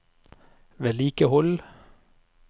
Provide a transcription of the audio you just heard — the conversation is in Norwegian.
vedlikehold